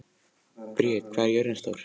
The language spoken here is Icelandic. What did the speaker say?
Briet, hvað er jörðin stór?